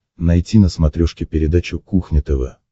найти на смотрешке передачу кухня тв